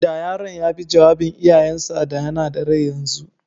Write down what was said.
Da yaron ya bi jawabin iyayen sa, da yana da rai yanzu.